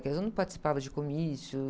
Eu não participava de comícios.